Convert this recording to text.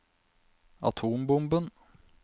atombomben